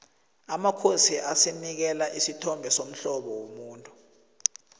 amasiko asinikela isithombe somhlobo womuntu